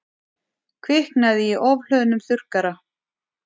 Kviknaði í ofhlöðnum þurrkara